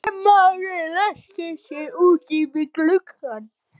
Valdimar ræskti sig úti við gluggann.